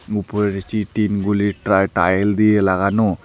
উপরের চি টিনগুলি ট্রা-টাইল দিয়ে লাগানো।